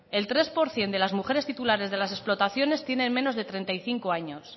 el tres por ciento de las mujeres titulares de las explotaciones tienen menos de treinta y cinco años